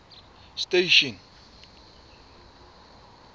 station